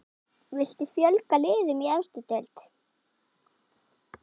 Viltu fjölga liðum í efstu deild?